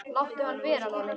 Láttu hann vera, Lalli!